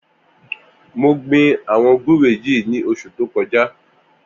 Mó gbin awọn gbùré yi ni óṣù tókọjá